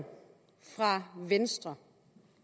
venstre